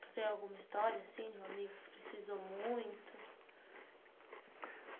Você tem alguma história assim de um amigo que precisou muito?